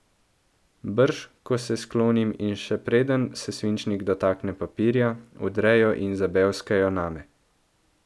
Brž ko se sklonim in še preden se svinčnik dotakne papirja, vdrejo in zabevskajo name.